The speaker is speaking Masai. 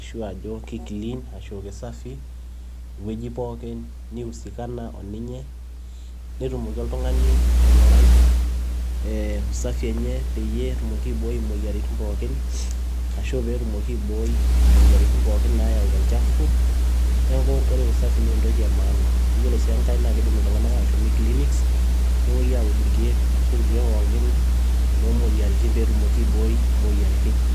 ashu ajo kekiliin ashu keisafi tewueji pooki niusikana oninye, netumoki oltung'ani aing'urai ee usafi enye peyie etumoki aiboi imoyiaritin pookin, ashu pee etumoki aiboi imoyiaritin pookin nayau olchafu neeku ore eusafi naa entoki emaana ore sii engae naa kiidim aashom enkiliniks nepoi aud irkiek ashu irkiek pookin loomoyiaritin pee etumoki aiboi imoyiaritin.